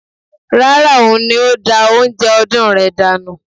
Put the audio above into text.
Rárá, òun ni ó da oúnjẹ ọdún rẹ̀ dànù